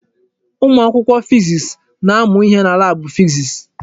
Ụmụ akwụkwọ fiziks na-amụ ihe na laabụ fiziks.